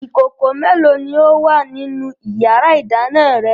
Ìkòkò mélòó ni ó wà nínú ìyàrá-ìdáná rẹ?